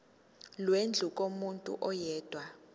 lwendlu kumuntu oyedwa